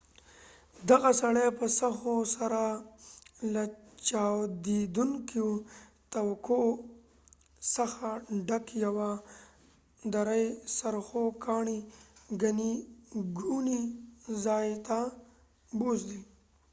دغه سړی په سهو سره له چاودیدونکو توکو څخه ډک یوه دری څرخو ګاډي ګڼې ګوڼې ځای ته بوستلي